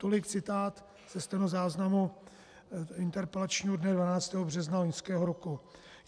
Tolik citát ze stenozáznamu interpelačního dne 12. března loňského roku.